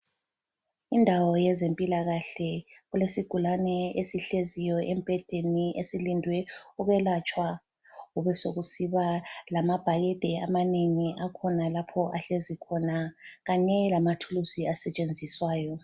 Indawo yezempilakahle. Kulesigulane esihleziyo embhedeni esilindwe ukwelatshwa. Kubesokusiba lamabhakede amanengi akhonalapho ahlezi khona kanye lamathuluzi asetshenziswayo.